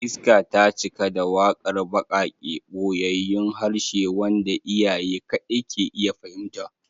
Iska ta cika da waƙar baƙaƙe, ɓoyayyun harshe wanda iyaye kaɗai ke iya fahimta